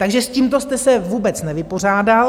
Takže s tímto jste se vůbec nevypořádal.